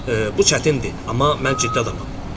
Bu çətindir, amma mən ciddi adamam.